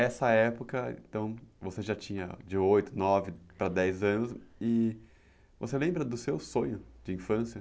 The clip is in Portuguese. Essa época, então, você já tinha de oito, nove para dez anos e você lembra do seu sonho de infância?